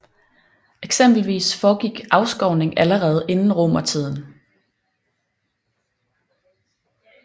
Eksempelvis foregik afskovning allerede inden romertiden